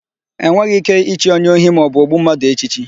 E nweghị íké ichi onye ohi maọbụ ogbu mmadụ echichi.